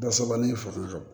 Dasabali fanga don